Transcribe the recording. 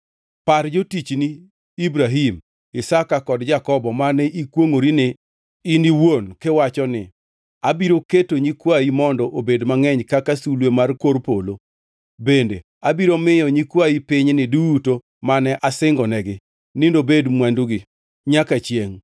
Par jotichni Ibrahim, Isaka kod Jakobo mane ikwongʼorini in iwuon kiwacho ni, ‘Abiro keto nyikwayi mondo obed mangʼeny kaka sulwe mar kor polo bende abiro miyo nyikwayi pinyni duto mane asingonegi ni nobed mwandugi nyaka chiengʼ.’ ”